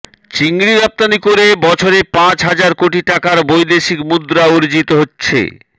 চিংড়ি রপ্তানি করে বছরে পাঁচ হাজার কোটি টাকার বৈদেশিক মুদ্রা অর্জিত হচ্ছে